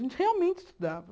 A gente realmente estudava.